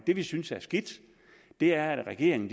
det vi synes er skidt er at regeringen